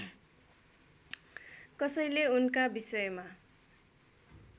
कसैले उनका विषयमा